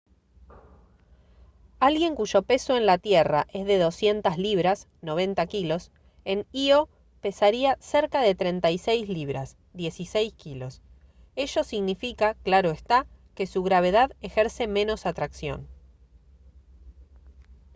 alguien cuyo peso en la tierra es de 200 libras 90 kg en ío pesaría cerca de 36 libras 16 kg. ello significa claro está que su gravedad ejerce menos atracción